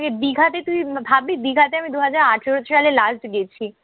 দিঘাতে তুই ভাবলি দিঘাতে আমি দুই হাজার আঠারো সালে last গেছি।